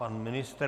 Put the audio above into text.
Pan ministr?